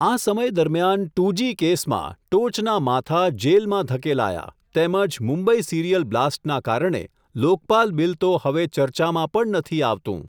આ સમય દરમિયાન, ટુ જી કેસમાં, ટોચના માથા જેલમાં ધકેલાયા, તેમજ મુંબઈ સીરિયલ બ્લાસ્ટના કારણે, લોકપાલ બીલ તો હવે ચર્ચામાં પણ નથી આવતું.